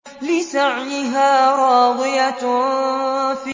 لِّسَعْيِهَا رَاضِيَةٌ